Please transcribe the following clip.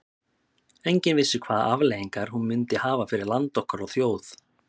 Enginn vissi hvaða afleiðingar hún myndi hafa fyrir land okkar og þjóð.